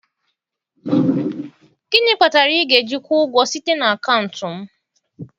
Gịnị kpatara ị ga-eji kwụọ ụgwọ site n'akaụntụ m?